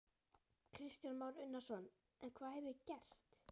Kristján Már Unnarsson: En hvað hefur gerst?